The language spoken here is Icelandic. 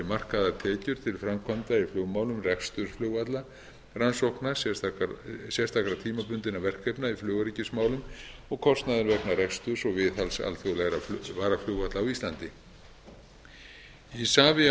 markaðar tekjur til framkvæmda í flugmálum reksturs flugvalla rannsókna sérstakra tímabundinna verkefna í flugöryggismálum og kostnaður vegna reksturs og viðhalds alþjóðlegra varaflugvalla á íslandi isavia o